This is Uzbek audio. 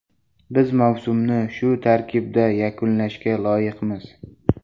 Biz mavsumni shu tarkibda yakunlashga loyiqmiz.